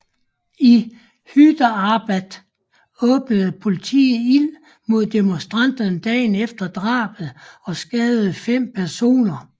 I Hyderabad åbnede politiet ild mod demonstranter dagen efter drabet og skadede fem personer